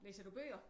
Læser du bøger?